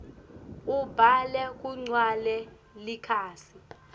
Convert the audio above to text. ubhale kugcwale likhasi